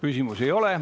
Küsimusi ei ole.